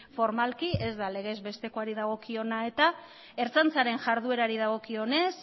formalki ez da legez bestekoari dagokiona eta ertzaintzaren iharduerari dagokionez